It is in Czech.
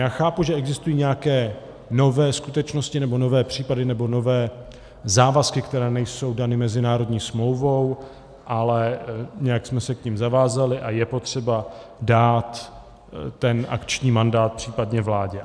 Já chápu, že existují nějaké nové skutečnosti nebo nové případy nebo nové závazky, které nejsou dány mezinárodní smlouvou, ale nějak jsme se k nim zavázali a je potřeba dát ten akční mandát případně vládě.